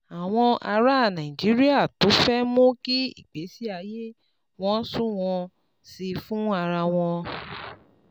Àwọn ará Nàìjíríà tó fẹ́ mú kí ìgbésí ayé wọn sunwọ̀n sí i fún ara wọn